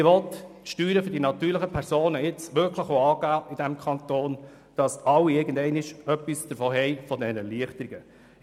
Er will die Steuern für die natürlichen Personen in diesem Kanton wirklich jetzt angehen, damit schlussendlich alle etwas von diesen Erleichterungen haben.